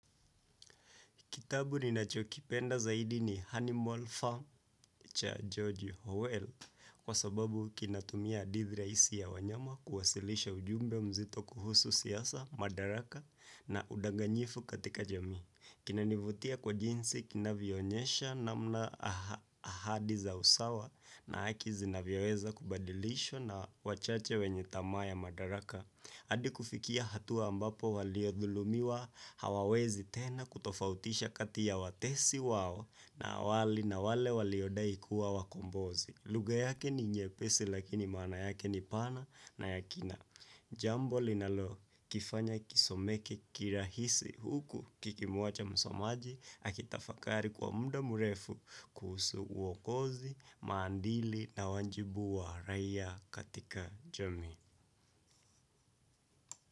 Kitabu ninachokipenda zaidi ni animal Farm cha George Howell kwa sababu kinatumia hadithi rahisi ya wanyama kuwasilisha ujumbe mzito kuhusu siasa, madaraka na udanganyifu katika jamii. Kinanivutia kwa jinsi kinavionyesha namna ahadi za usawa na haki zinavyoweza kubadilisha na wachache wenye tamaa ya madaraka. Hadi kufikia hatua ambapo waliodhulumiwa hawawezi tena kutofautisha kati ya watesi wao na wali na wale waliodai kuwa wakombozi. Lugha yake ni nyepesi lakini maana yake ni pana na ya kina. Jambo linalokifanya kisomeke kirahisi huku kikimuacha msomaji akitafakari kwa mda mrefu kuhusu uokozi, maandili na wajibu wa raia katika jamii.